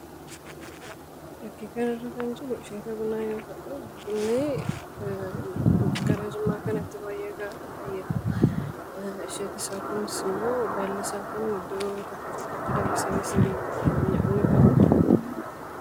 Fakkii kanarra kan jiru fakkii bunaa yoo ta'u, gara jimmaa kanatti baay'ata. Baallisaa kunis iddoo tokko tokkotti danfisamee ni dhugama.